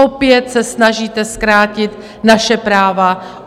Opět se snažíte zkrátit naše práva.